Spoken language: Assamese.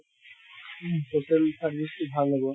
social service তো ভাল হʼব।